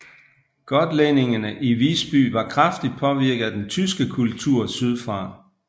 Gotlændingerne i Visby var kraftigt påvirket af den tyske kultur sydfra